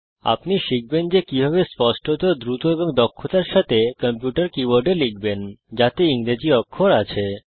আপনি শিখবেন যে কিভাবে স্পষ্টত দ্রুত এবং দক্ষতার সাথে কম্পিউটার কীবোর্ডে লিখবেন যাতে ইংরেজি অক্ষর আছে